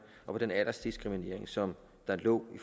og at den aldersdiskrimination som lå i